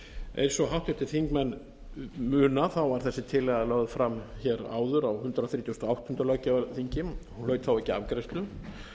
eins og háttvirtir þingmenn muna var þessi tillaga lögð fram hér áður á hundrað þrítugasta og áttunda löggjafarþingi hún hlaut þá ekki afgreiðslu